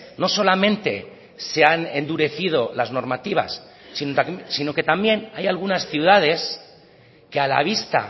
no solamente se han endurecido las normativas sino que también hay algunas ciudades que a la vista